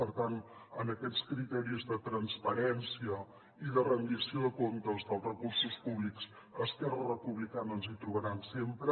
per tant en aquests criteris de transparència i de rendició de comptes dels recursos públics a esquerra republicana ens hi trobaran sempre